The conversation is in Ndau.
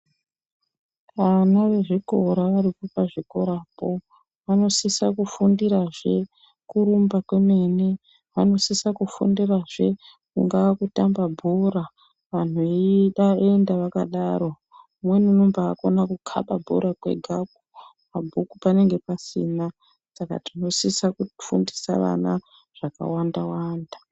Ana ezvikora aripo pazvikorapo vanosisa kufundirazve kurumba kwemene vanosisa kufundirazve kungaa kutamba bhora antu eida oenda akadaro umweni unombaakona kukaba bhora kwega mabhuku panenge pasina saka tinosisa kufundisa vana zvakawanda wanda.